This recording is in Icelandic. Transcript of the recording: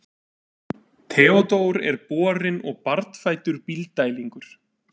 Theodór er borinn og barnfæddur Bílddælingur.